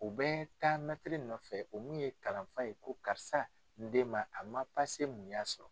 U bɛ taa mɛtiri nɔfɛ, o mi ye kalanfa ye, ko karisa , n den ma , a ma mun y'a sɔrɔ?